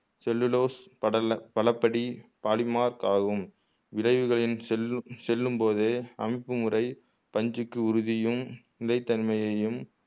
cellulose படல பலபடி பாலிமார்க் ஆகும் இடைவுகளில் செல்லும் செல்லும்போதே அனுப்புமுறை பஞ்சுக்கு உறுதியும் நிலை தன்மையையும்